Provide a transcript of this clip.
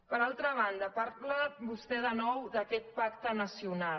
per altra banda parla vostè de nou d’aquest pacte na·cional